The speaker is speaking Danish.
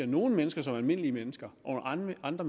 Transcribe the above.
nogle mennesker som almindelige mennesker og andre